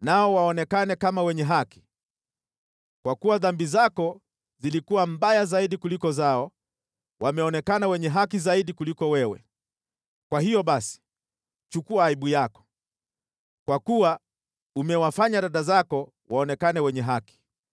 nao waonekane kama wenye haki. Kwa kuwa dhambi zako zilikuwa mbaya zaidi kuliko zao, wameonekana wenye haki zaidi kuliko wewe. Kwa hiyo basi, chukua aibu yako, kwa kuwa umewafanya dada zako waonekane wenye haki.